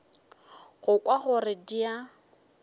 go kwa gore di a